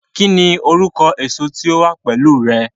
kí ni orúkọ èso tí ó wà pẹlú rẹ?